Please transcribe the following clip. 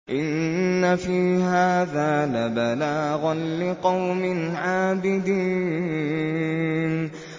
إِنَّ فِي هَٰذَا لَبَلَاغًا لِّقَوْمٍ عَابِدِينَ